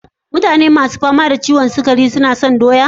Mutane ma su fama da ciwon sukari su na cin doya?